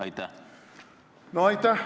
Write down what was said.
Aitäh!